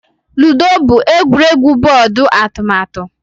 Ludo bụ egwuregwu bọọdụ atụmatụ